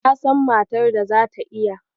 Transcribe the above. Na san matar da zata iya.